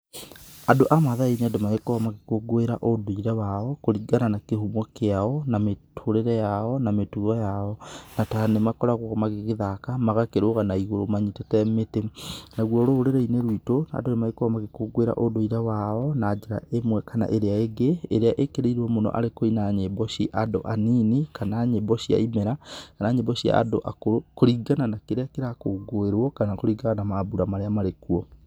Andũ a mathai nĩ andũ magĩkoragwo magĩkũngũĩra ũndũire wao kũringana na kĩhumo kĩao, na mĩtũrĩre yao, na mĩtugo yao na nĩ magĩkoragwo magĩgĩthaka magakĩrũga na igũrũ manyitĩte mĩtĩ. Naguo rũrĩrĩ-inĩ rwitũ andũ nĩ magĩkoragwo magĩkũngũĩra ũndũĩre wao na njĩra ĩmwe kana ĩria ĩngĩ. Ĩria ĩkĩrĩĩrwo mũno arĩ kũina nyĩmbo cia andũ acio anini, kana nyĩmbo cia ĩmera, kana nyĩmbo cia andũ akũrũ kũringana na kĩrĩa kĩrakũngũĩrwo kana kũringana na mambũra marĩa marĩkuo.